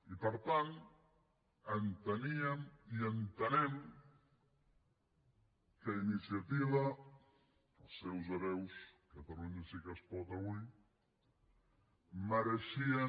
i per tant enteníem i entenem que iniciativa els seus hereus catalunya sí que es pot avui mereixien